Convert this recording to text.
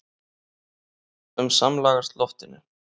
um samlagast loftinu.